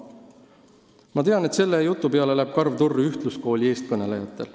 Ma tean, et selle jutu peale läheb karv turri ühtluskooli eestkõnelejatel.